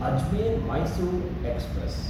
Ajmer-Mysore express